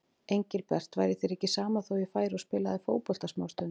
Engilbert, væri þér ekki sama þó ég færi og spilaði fótbolta smástund.